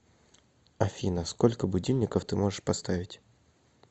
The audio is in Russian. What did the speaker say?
афина сколько будильников ты можешь поставить